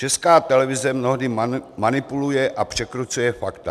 Česká televize mnohdy manipuluje a překrucuje fakta.